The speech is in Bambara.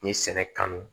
N ye sɛnɛ kanu